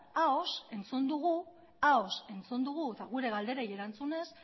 ahoz entzun dugu ahoz entzun dugu eta gure galderei erantzunez